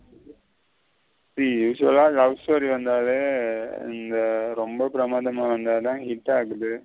See usually love story வந்தாலே ரெம்ப பெரமன்டாம வந்தத hit ஆகுது.